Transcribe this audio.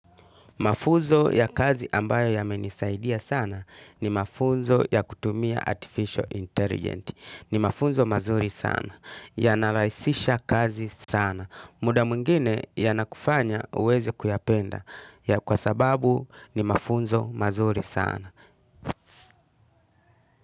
Mafuzo ya kazi ambayo yamenisaidia sana ni mafuzo ya kutumia Artificial Intelligence. Ni mafuzo mazuri sana. Ya naraisisha kazi sana. Muda muingine yanakufanya uwezi kuyapenda. Ya kwa sababu ni mafuzo mazuri sana.